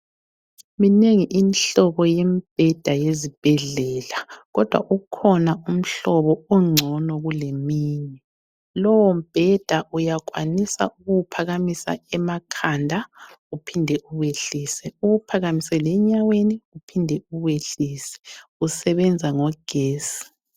Minengi imihlobo yembheda yezibhedlela kodwa ukhona umhlobo ongcono kuleminye. Lowombheda uyakwanisa ukuwuphakamisa emakhanda uphinde uwehlise, uwuphakamise lenyaweni uphinde uwehlise. Usebenza ngogesi.